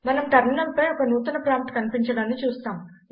మనం టెర్మినల్ పై ఒక నూతన ప్రాంప్ట్ కనిపించడాన్ని చూస్తాం